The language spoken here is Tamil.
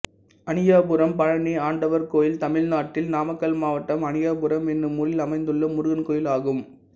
அணியாபுரம் பழனி ஆண்டவர் கோயில் தமிழ்நாட்டில் நாமக்கல் மாவட்டம் அணியாபுரம் என்னும் ஊரில் அமைந்துள்ள முருகன் கோயிலாகும்